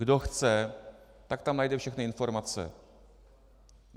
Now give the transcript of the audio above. Kdo chce, tak tam najde všechny informace.